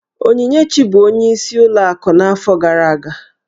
Onyinyechi bụ ọnyeis ụlọ akụ n'afọ gara aga.